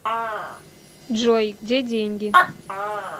джой где деньги